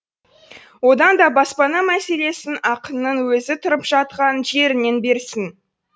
одан да баспана мәселесін ақынның өзі тұрып жатқан жерінен берсін